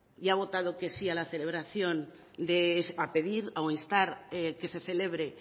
y que ha votado que sí a la celebración para pedir o instar que se celebre